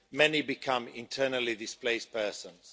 many became internally displaced persons.